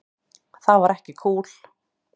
Það var ekki kúl.